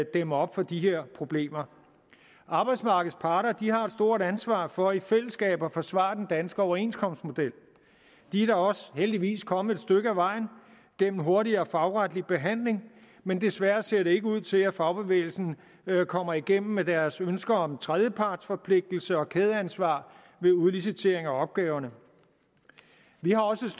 dæmme op for de her problemer arbejdsmarkedets parter har et stort ansvar for i fællesskab at forsvare den danske overenskomstmodel de er da også heldigvis kommet et stykke ad vejen igennem hurtigere fagretlig behandling men desværre ser det ikke ud til at fagbevægelsen kommer igennem med deres ønsker om tredjepartsforpligtelse og kædeansvar ved udlicitering af opgaverne vi har også